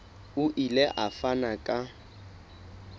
o ile a fana ka